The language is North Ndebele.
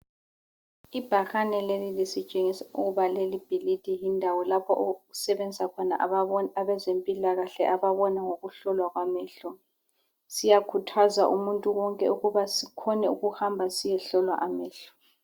Ibhakane leli lisitshengisa ukuba lelibhilidi lindawo lapho okusebenza khona abezempilakahle ababona ngokuhlolwa kwamehlo. Siyakhuthaza umuntu wonke ukuba sikhone ukuhamba siyehlolwa amehlo.